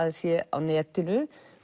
það sé á netinu